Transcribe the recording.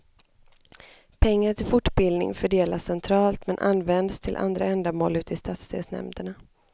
Pengar till fortbildning fördelas centralt men används till andra ändamål ute i stadsdelsnämnderna.